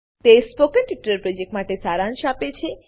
તે spoken tutorial પ્રોજેક્ટનો સારાંશ આપે છે